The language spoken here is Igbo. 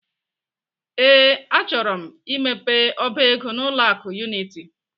Ee, achọrọ m imepe ọba ego n'ụlọ akụ Unity.